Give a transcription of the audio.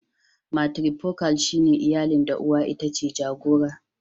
"Matrifocal" shine iyalin da uwa itace jagora".